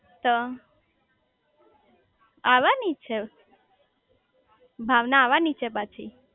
તો આવાની છે ભાવના આવાની છે પાછી